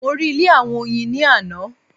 Mo rí ilé àwọn Oyin ni ààná